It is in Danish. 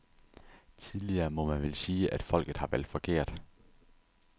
Tidligere må man vel sige, at folket har valgt forkert.